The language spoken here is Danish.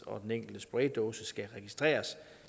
og den enkelte spraydåse skal registreres